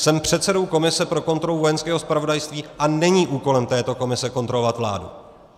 Jsem předsedou komise pro kontrolu Vojenského zpravodajství, a není úkolem této komise kontrolovat vládu.